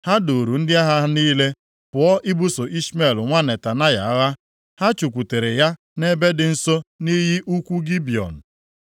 ha duuru ndị agha ha niile pụọ ibuso Ishmel nwa Netanaya agha. Ha chụkwutere ya nʼebe dị nso nʼiyi ukwu Gibiọn.